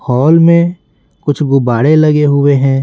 Hall में कुछ गुब्बाड़े लगे हुए हैं।